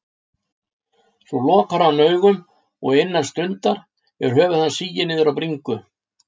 Svo lokar hann augunum og innan stundar er höfuð hans sigið niður á bringu.